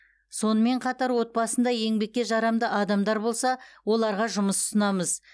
сонымен қатар отбасында еңбекке жарамды адамдар болса оларға жұмыс ұсынамыз